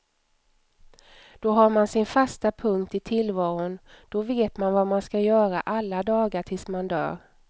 Då har man sin fasta punkt i tillvaron, då vet man vad man skall göra alla dagar tills man dör.